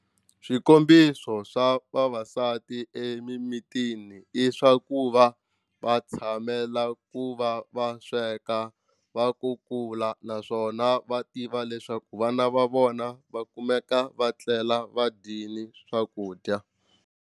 Swikombiso swa vavasati emimitini i swa ku va va tshamela ku va va sweka va kukula naswona va tiva leswaku vana va vona va kumeka va tlela va dyini swakudya.